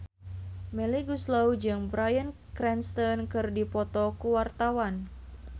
Melly Goeslaw jeung Bryan Cranston keur dipoto ku wartawan